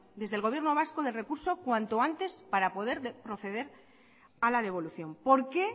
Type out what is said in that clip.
desde el gobierno vasco del recurso cuanto antes para poder proceder a la devolución por qué